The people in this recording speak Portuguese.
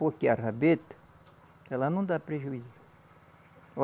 Porque a rabeta, ela não dá prejuízo.